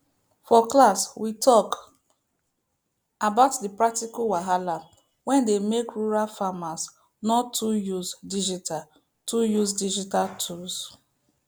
for class we talk about the practical wahala wey dey make rural farmers no too use digital too use digital tools